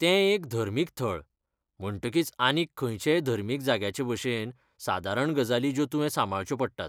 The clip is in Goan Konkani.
तें एक धर्मीक थळ, म्हणटकीच आनीक खंयचेय धर्मीक जाग्याचेभशेन, सादारण गजाली ज्यो तुवें सांबाळच्यो पडटात.